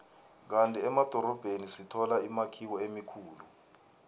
kandi emadorobheni sithola imakhiwo emikhulu